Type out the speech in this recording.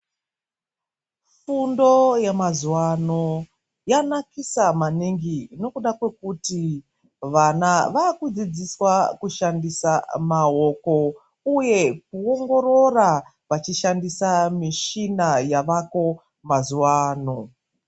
Fundo yeamazuwano yanakisa maningi nokuda kwokuti vana vakudzidziswa kushandisa maoko uye kuongorora vachishandisa mishina yaveko mazuwano.